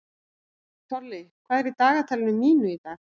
Tolli, hvað er í dagatalinu mínu í dag?